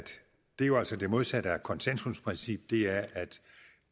det jo altså er det modsatte af konsensusprincippet